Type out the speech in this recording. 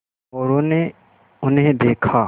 मोरू ने उन्हें देखा